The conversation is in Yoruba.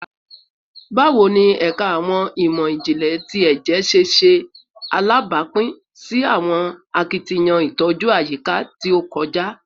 Bawo ni Ẹka Awọn imọ-jinlẹ ti Ẹjẹ ṣe ṣe alabapin si awọn akitiyan itoju ayika ti o kọja?